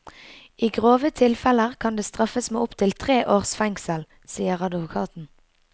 I grove tilfeller kan det straffes med opptil tre års fengsel, sier advokaten.